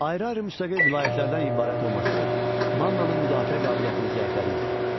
Ayrı-ayrı müstəqil vilayətlərdən ibarət olması Mannanın müdafiə qabiliyyətini zəiflədirdi.